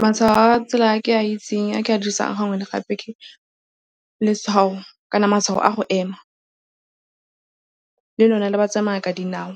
Matshwao a tsela a ke a itseng a ke a dirisang gangwe le gape ke letshwao kana matshwao a go ema. Le lone le ba tsamayang ka dinao.